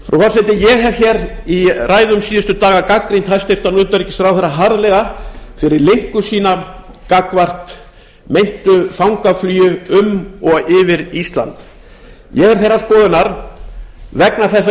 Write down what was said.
frú forseti ég hef í ræðum síðustu daga gagnrýnt hæstvirts utanríkisráðherra harðlega fyrir linku sína gagnvart meintu fangaflugi um og yfir ísland ég er þeirrar skoðunar vegna þess að